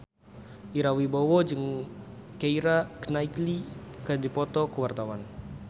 Ira Wibowo jeung Keira Knightley keur dipoto ku wartawan